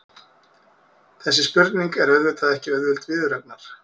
Þessi spurning er auðvitað ekki auðveld viðureignar.